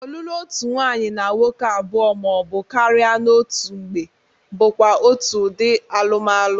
Ọlụlụ otu nwaanyị na nwoke abụọ ma ọ bụ karị n'otu mgbe bụkwa otu ụdị alụmalụ.